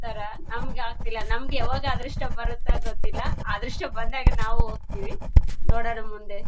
ನಮ್ ತರ ನಮ್ಗ್ ಆಗ್ತಿಲ್ಲ ನಮಗೆ ಯಾವಾಗ ಅದೃಷ್ಟ ಬರುತೋ ಗೊತ್ತಿಲ್ಲ. ಅದೃಷ್ಟ ಬಂದಾಗ ನಾವೂ ಹೋಗತೀವಿ ನೋಡೋಣ ಮುಂದೆ.